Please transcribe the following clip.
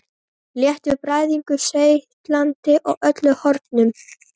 Léttur bræðingur seytlandi úr öllum hornum.